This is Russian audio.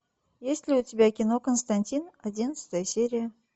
есть ли у тебя кино константин одиннадцатая серия